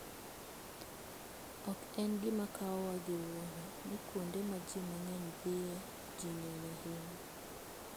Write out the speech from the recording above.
Ok en gima kawowa gi wuoro ni kuonde ma ji mang'eny dhiye, ji ng'eny ahinya.